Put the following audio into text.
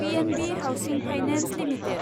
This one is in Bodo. PNB housing finance limited